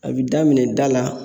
A bi daminɛ da la